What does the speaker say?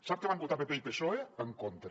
sap què van votar pp i psoe en contra